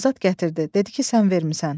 Azad gətirdi, dedi ki, sən vermisən.